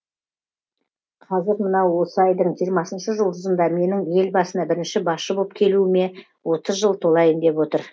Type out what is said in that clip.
кәзір мынау осы айдың жиырмасыншы жұлдызында менің ел басына бірінші басшы боп келуіме отыз жыл толайын деп отыр